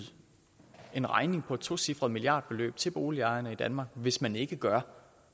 en regning på et tocifret milliardbeløb til boligejerne i danmark hvis man ikke gør